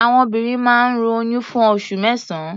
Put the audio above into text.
Àwọn obìnrin máa ń ru oyún fún oṣù mẹ́sàn-án.